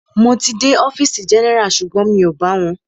Mo ti dé ọfìsì general sugbon mi o bá wọn.